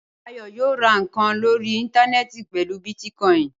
Ayọ̀ yóò ra nǹkan lórí íńtánẹ́ẹ̀tì pẹ̀lú bítíkọ́ìn.